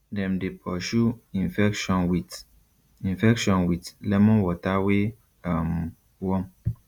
dem dey pursue infection with infection with lemon water wey um warm